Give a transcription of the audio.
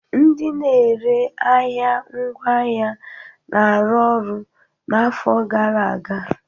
Ndị na-ere ahịa ngwaahịa na-arụ ọrụ n'afọ gara aga